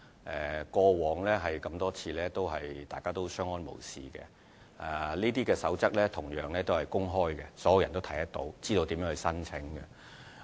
在過往多次，大家一直相安無事，而這些守則是公開的，所有人都能看到，知道如何申請。